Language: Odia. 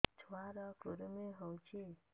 ଛୁଆ ର କୁରୁମି ହୋଇଛି